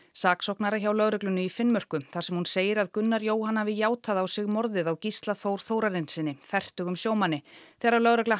saksóknara hjá lögreglunni í Finnmörku þar sem hún segir að Gunnar Jóhann hafi játað á sig morðið á Gísla Þór Þórarinssyni fertugum sjómanni þegar lögregla